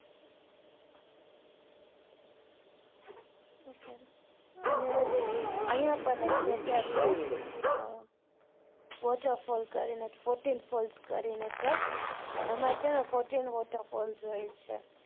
હા ok અને અહિયાં પણ એક જગ્યા છે અ waterfall કરી ને છે એમાં છે ને fourtin waterfall જોઇએ છે.